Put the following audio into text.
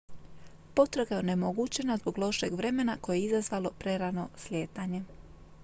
potraga je onemogućena zbog lošeg vremena koje je izazvalo prerano slijetanje